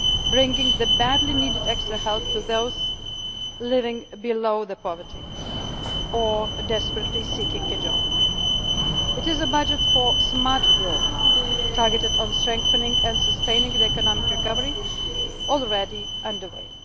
crisis, bringing badly needed extra help to those living below the poverty line or desperately seeking a job. It is a budget for smart growth, targeted on strengthening and sustaining the economic recovery which is already